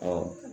Ɔ